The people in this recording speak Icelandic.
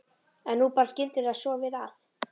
En nú bar skyndilega svo við að